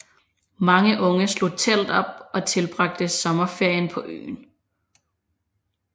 Mange unge slog telt op og tilbragte sommerferien på øen